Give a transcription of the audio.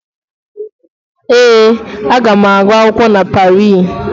Ee, aga m agu akwụkwọ na Parii.